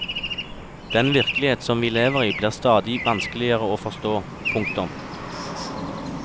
Den virkelighet som vi lever i blir stadig vanskeligere å forstå. punktum